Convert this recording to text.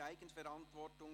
Mehr Eigenverantwortung: